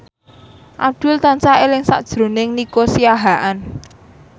Abdul tansah eling sakjroning Nico Siahaan